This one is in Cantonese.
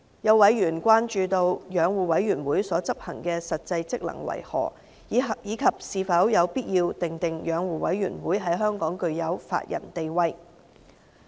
有委員關注到，養護委員會所執行的實際職能為何，以及是否有必要訂明養護委員會在香港具有法人地位。